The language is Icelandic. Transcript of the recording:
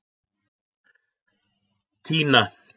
Tína